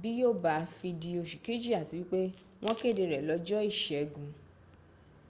bí yó bá fi di osù kejì àti wípé wọ́n kéde rẹ̀ lọ́jọ́ ìṣẹ́gun